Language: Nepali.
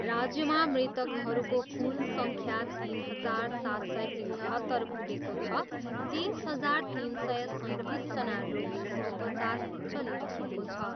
राज्यमा मृतकहरूको कुल सङ्ख्या तिन हजार सात सय एकहत्तर पुगेको छ, तेइस हजार तिन सय सैँतिसजना रोगीको उपचार चलिरहेको छ।